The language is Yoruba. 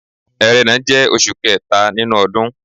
Ẹrẹ́nà jẹ́ oṣù kẹta nínú ọdún.